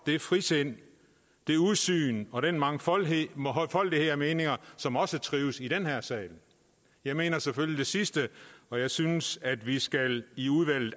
det frisind det udsyn og den mangfoldighed mangfoldighed af meninger som også trives i den her sal jeg mener selvfølgelig det sidste og jeg synes at vi i udvalget